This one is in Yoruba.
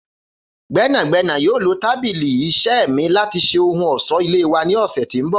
Gbẹnagbẹna yoo lo tabili iṣẹ mi lati ṣe ohun ọṣọ-ile wa ni ọsẹ ti n bọ.